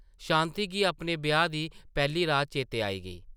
शांति गी अपने ब्याह् दी पैह्ली रात चेतै आई गेई ।